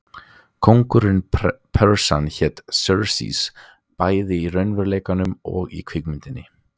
Konungur Persanna hét Xerxes, bæði í raunveruleikanum og í kvikmyndinni.